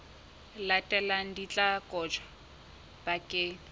latelang di tla kotjwa bakeng